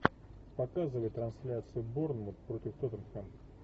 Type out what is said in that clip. показывай трансляцию борнмут против тоттенхэм